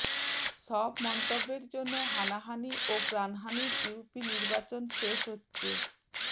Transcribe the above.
সব মন্তব্যের জন্য হানাহানি ও প্রাণহানির ইউপি নির্বাচন শেষ হচ্ছে